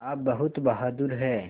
आप बहुत बहादुर हैं